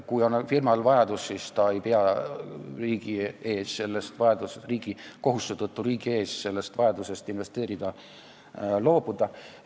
Kui firmal on vajadus investeerida, siis ta ei pea kohustuse tõttu riigi ees sellest loobuma.